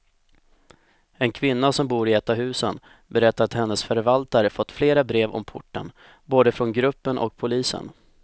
En kvinna som bor i ett av husen berättar att hennes förvaltare fått flera brev om porten, både från gruppen och polisen.